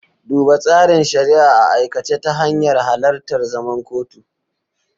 Duba tsarin shari'a a aikace ta hanyar halartar zaman kotu.